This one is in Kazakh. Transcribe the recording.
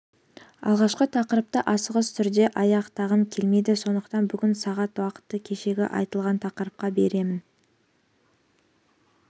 алғашқы тақырыпты асығыс түрде аяқтағым келмейді сондықтан бүгін сағат уақытты кешегі айтылған тақырыпқа бөлемін